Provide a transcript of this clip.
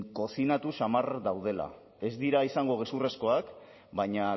kozinatu samar daudela ez dira izango gezurrezkoak baina